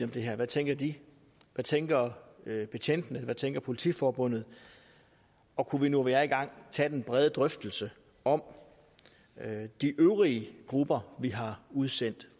det her hvad tænker de hvad tænker betjentene hvad tænker politiforbundet og kunne vi nu hvor vi er i gang tage den brede drøftelse om de øvrige grupper vi har udsendt